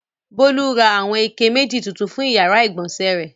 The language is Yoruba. Bólú ra àwọn ike méjì tuntun fún ìyàrá-ìgbọ̀nsẹ̀ rẹ̀.